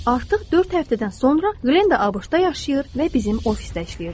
Artıq dörd həftədən sonra Glenda ABŞ-da yaşayır və bizim ofisdə işləyirdi.